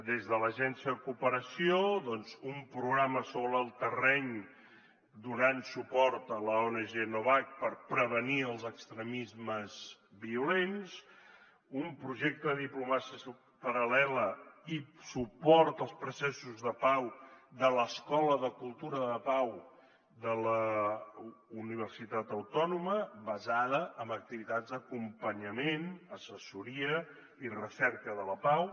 des de l’agència de cooperació un programa sobre el terreny donant suport a l’ong novact per prevenir els extremismes violents un projecte de diplomàcia paral·lela i suport als processos de pau de l’escola de cultura de pau de la universitat autònoma basada en activitats d’acompanyament assessoria i recerca de la pau